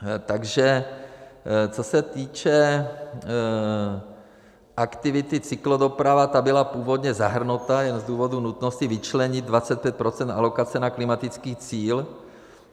Takže co se týče aktivity cyklodoprava, ta byla původně zahrnuta jen z důvodu nutnosti vyčlenit 25 % alokace na klimatický cíl.